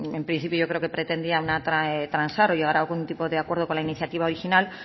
bueno en principio yo creo que pretendía transar o llegar a algún tipo de acuerdo con la iniciativa original